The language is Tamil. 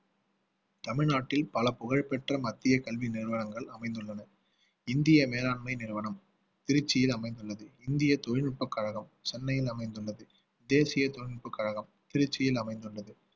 தமிழ்நாட்டில் பல புகழ்பெற்ற மத்திய கல்வி நிறுவனங்கள் அமைந்துள்ளன இந்திய மேலாண்மை நிறுவனம் திருச்சியில் அமைந்துள்ளது இந்திய தொழில்நுட்பக் கழகம் சென்னையில் அமைந்துள்ளது தேசிய தொழில்நுட்பக் கழகம் திருச்சியில் அமைந்துள்ளது